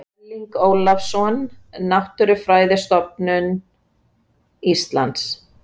Erling Ólafsson, Náttúrufræðistofnun Íslands.